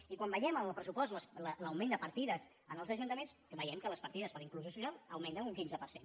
i quan veiem en el pressupost l’augment de partides en els ajuntaments veiem que les partides per a inclusió social augmenten un quinze per cent